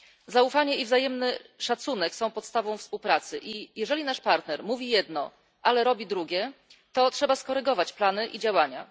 Zaufanie i wzajemny szacunek są podstawą współpracy i jeżeli nasz partner mówi jedno, ale robi drugie, to trzeba skorygować plany i działania.